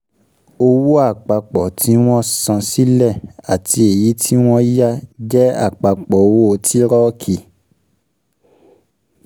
Owó àpapọ̀ tí wọ́n san sílẹ̀ àti èyí tí wọ́n yá jẹ́ àpapọ̀ owó tírọ̀kì.